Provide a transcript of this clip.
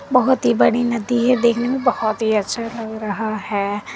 बहुत ही बड़ी नदी है देखने में बहुत ही अच्छा लग रहा है।